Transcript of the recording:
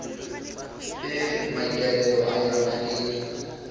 e maikaelelo a yona e